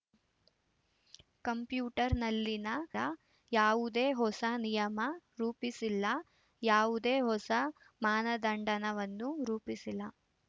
ಕಂಪ್ಯೂಟರ್‌ನಲ್ಲಿನ ನ ಯಾವುದೇ ಹೊಸ ನಿಯಮ ರೂಪಿಸಿಲ್ಲ ಯಾವುದೇ ಹೊಸ ಮಾನದಂಡವನ್ನೂ ರೂಪಿಸಿಲ್ಲ